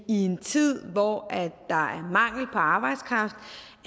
i en tid hvor der er mangel på arbejdskraft